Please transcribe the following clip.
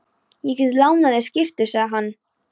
Ég get lánað þér skyrtu, sagði hann.